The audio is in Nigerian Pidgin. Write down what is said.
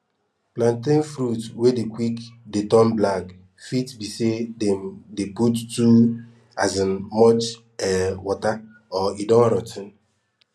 plantain fruit wey dey quick dey turn black fit be say dem dey put too um much um water or e don rot ten